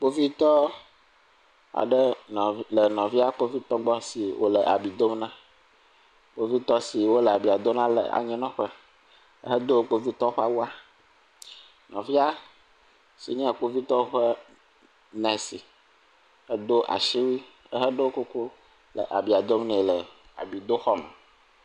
Kpovitɔ aɖe le nɔvia kpovitɔ aɖe gbɔ si wòle abia dom na, kpovitɔ si wole abia dom na le anyinɔƒe hedo kpovitɔwo ƒe awua, nɔvia si nye kpovitɔ nɛsi edo asiwui heɖo kuku le abia dom nɛ le abidoxɔme.